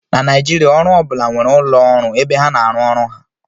na Naijiria, ana-ahụ ndị bi na GRA ka ụmụaka bara ọgaranya